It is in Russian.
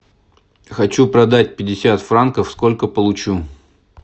хочу продать пятьдесят франков сколько получу